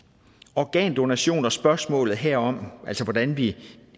organdonation og spørgsmålet herom altså hvordan vi